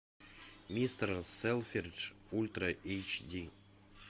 мистер селфридж ультра эйч ди